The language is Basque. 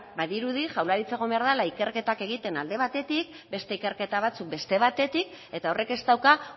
badirudi jaurlaritza egon behar dela ikerketak egiten alde batetik beste ikerketa batzuk beste batetik eta horrek ez dauka